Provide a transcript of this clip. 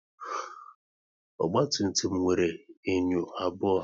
Ogba tum tum nwere enyo abụọ